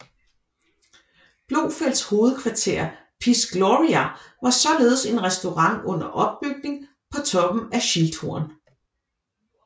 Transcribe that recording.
Blofelds hovedkvarter Piz Gloria var således en restaurant under opbygning på toppen af Schilthorn